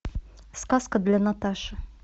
сказка для наташи